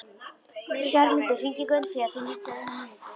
Bergmundur, hringdu í Gunnfríði eftir níutíu og eina mínútur.